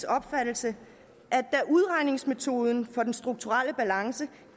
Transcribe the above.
opfattelse at da udregningsmetoden for den strukturelle balance